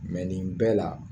Mɛ nin bɛɛ la